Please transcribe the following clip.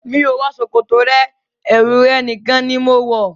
Mi ò wọ ṣòkòtò rẹ, ẹwu rẹ̀ nìkan ni mo ń wọ.